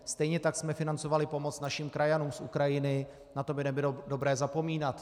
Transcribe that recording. Stejně tak jsme financovali pomoc našim krajanům z Ukrajiny, na to by nebylo dobré zapomínat.